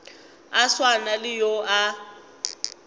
a swana le yo a